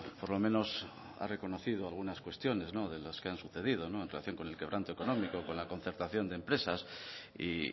por lo menos ha reconocido algunas cuestiones de las que han sucedido en relación con el quebranto económico con la concertación de empresas y